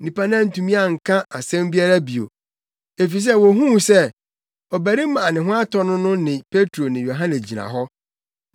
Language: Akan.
Nnipa no antumi anka asɛm biara bio, efisɛ wohuu sɛ ɔbarima a na ne ho atɔ no no ne Petro ne Yohane gyina hɔ.